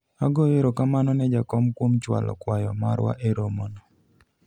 agoyo erokamano ne jakom kuom chwalo kwayo marwa e romono